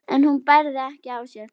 en hún bærði ekki á sér.